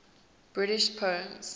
british poems